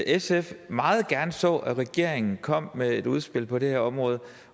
sf meget gerne så at regeringen kom med et udspil på det her område